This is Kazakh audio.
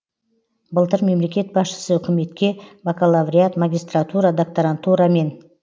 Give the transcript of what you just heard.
былтыр мемлекет басшысы үкіметке бакалавриат магистратура докторантура мен